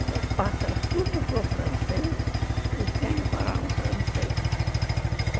Ele passa tudo para o francês e tem que falar no francês.